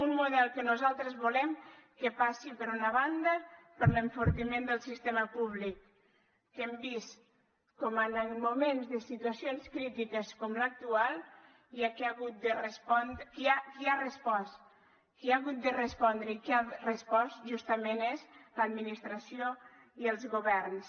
un model que nosaltres volem que passi per una banda per l’enfortiment del sistema públic que hem vist com en moments de situa cions crítiques com l’actual qui ha respost qui ha hagut de respondre i qui ha respost justament és l’administració i els governs